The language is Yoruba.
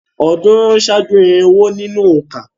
Ọ̀̀ọ́dúnrún ṣáájú irinwó nínú òǹkà.